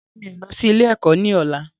Rárá, mi ò lọ sí ilé ẹ̀kọ́ ni ọ̀la.